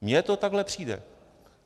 Mně to takhle přijde.